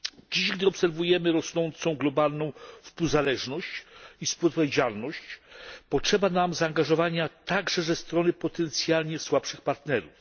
Dziś, gdy obserwujemy rosnącą globalną współzależność i współodpowiedzialność, potrzeba nam zaangażowania także ze strony potencjalnie słabszych partnerów.